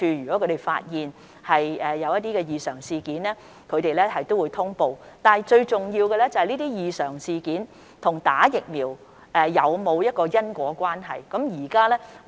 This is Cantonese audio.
如果他們發現異常事件，也會作出通報，但最重要的是有關的異常事件與注射疫苗是否存在因果關係。